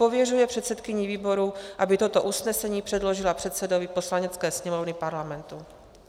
Pověřuje předsedkyni výboru, aby toto usnesení předložila předsedovi Poslanecké sněmovny Parlamentu.